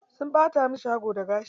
Sun ɓata masa shago da gashi.